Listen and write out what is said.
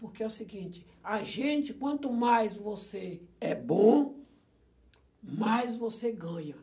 Porque é o seguinte, a gente, quanto mais você é bom, mais você ganha.